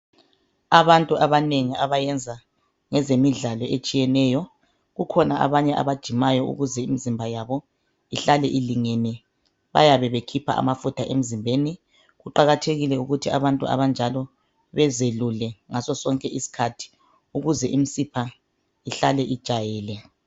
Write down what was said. Abantu abanengi abayenza ngezemidlalo etshiyeneyo, kukhona abanye abajimayo ukuze imizimba yabo ihlale ilingene. Bayabe bekhipha amafutha emzimbeni. Kuqakathekile ukuthi abantu abanjalo bazelule ngaso sonke isikhathi ukuze imisipha ihlale ijayele.